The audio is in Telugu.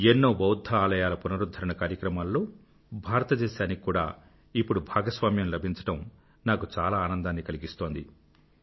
ఎన్నో బౌధ్ధ ఆలయాల పునరుధ్ధరణ కార్యక్రమాల్లో భారతదేశానికి కూడా ఇప్పుడు భాగస్వామ్యం లభించడం నాకు చాలా ఆనందాన్ని కలిగిస్తోంది